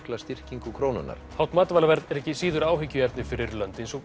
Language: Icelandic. styrkingu krónunnar hátt matvælaverð er ekki síður áhyggjuefni fyrir lönd eins og